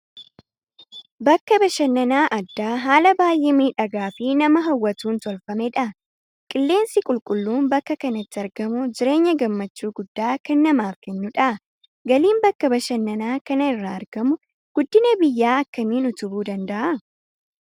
Bakka bashannanaa addaa haala baay'ee miidhagaa fi nama hawwatuun tolfamedha. Qilleensi qulqulluun bakka kanatti argamu jireenya gammachuu guddaa kan namaaf kennudha. Galiin bakka bashannanaa kana irraa argamu guddina biyyaa akkamiin utubuu danda'a?